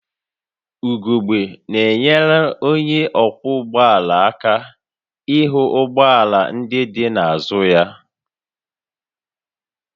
Ugogbe na-enyere onye ọkwọ ụgbọ ala aka ịhụ ụgbọ ala ndị dị n'azụ ya